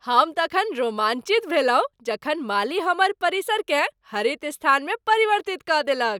हम तखन रोमांचित भेलहुँ जखन माली हमर परिसरकेँ हरित स्थानमे परिवर्तित कऽ देलक ।